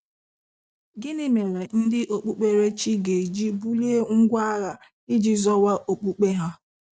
Gịnị mere ndị Okpụkpere chi ga-eji bulie ngwa agha iji zọwa okpukpe ha?